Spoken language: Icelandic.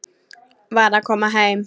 Var að koma heim.